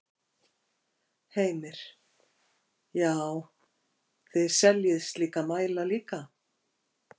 Heimir: Já, þið seljið slíka mæla líka?